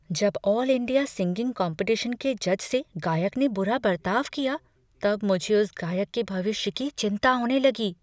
जब all India singing competition के जज से गायक ने बुरा बर्ताव किया तब मुझे उस गायक के भविष्य की चिंता होने लगी।